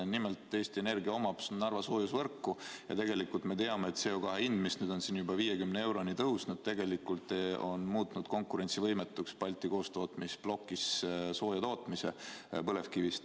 Nimelt, Eesti Energia omab Narva soojusvõrku ja me teame, et CO2 hind, mis on juba 50 euroni tõusnud, on muutnud tegelikult konkurentsivõimetuks Balti koostootmisplokis põlevkivist sooja tootmise.